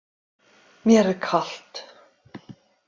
Mér er kalt.